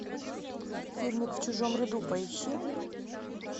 фильмик в чужом ряду поищи